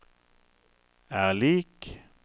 er lik